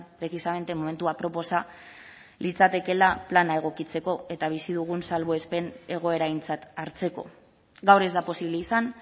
precisamente momentu aproposa litzatekeela plana egokitzeko eta bizi dugun salbuespen egoera aintzat hartzeko gaur ez da posible izan